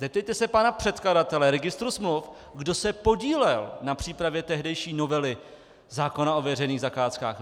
Zeptejte se pana předkladatele registru smluv, kdo se podílel na přípravě tehdejší novely zákona o veřejných zakázkách.